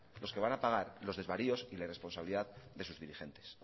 los que van a pagar los desvaríos y la irresponsabilidad de sus dirigentes